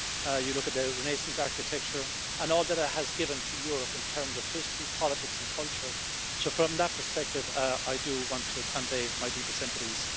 You look at the Renaissance architecture and all that it has given to Europe in terms of history, politics and culture. So, from that perspective, I do want to convey my deepest sympathies.